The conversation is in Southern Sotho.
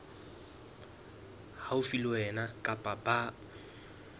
haufi le wena kapa ba